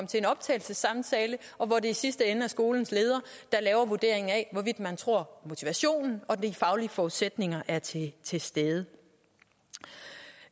til en optagelsessamtale hvor det i sidste ende er skolens leder der laver vurderingen af hvorvidt man tror motivationen og de faglige forudsætninger er til til stede